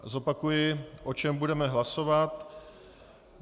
Zopakuji, o čem budeme hlasovat.